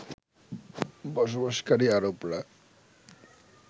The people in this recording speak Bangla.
বসবাসকারী আরবরা